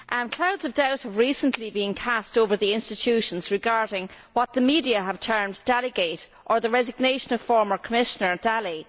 Clouds of doubt have recently been cast over the institutions regarding what the media have termed Dalligate', or the resignation of former Commissioner Dalli.